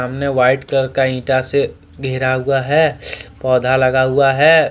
White colour का इंटा से घेरा हुआ है पौधा लगा हुआ है।